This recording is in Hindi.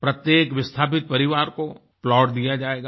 प्रत्येक विस्थापित परिवार कोplot दिया जाएगा